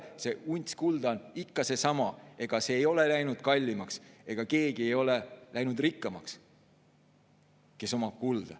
See unts kulda on ikka seesama, ega see ei ole läinud kallimaks ja keegi, kes omab kulda, ei ole läinud rikkamaks.